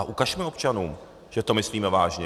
A ukažme občanům, že to myslíme vážně.